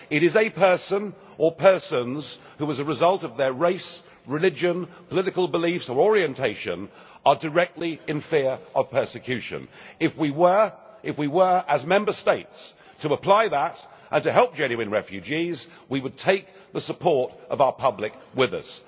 It is a person or persons who, as a result of their race, religion, political beliefs or orientation, are directly in fear of persecution. If we were, as Member States, to apply that and to help genuine refugees, we would take the support of our public with us.